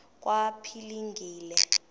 kwaphilingile